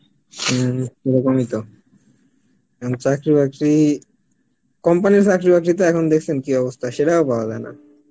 হম ওরকম ই তো, এখন চাকরি বাকরি, company র চাকরি বাকরি তো এখন দেখছেন কি অবস্থা এখন সেটাও পাওয়া যায় না